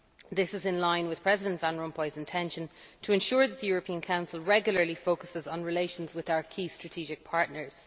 This is in line with President Van Rompuy's intention to ensure that the European Council regularly focuses on relations with our key strategic partners.